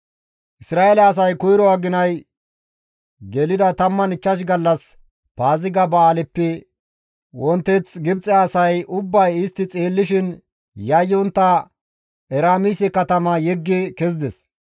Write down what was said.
Isra7eele asay koyro aginay gelida 15 gallas Paaziga ba7aaleppe wonteth Gibxe asay ubbay istti xeellishin yayyontta Eraamise katama yeggi kezides.